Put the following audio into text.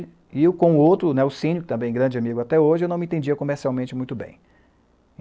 E eu com o outro, o Nelcínio, também grande amigo até hoje, eu não me entendia comercialmente muito bem.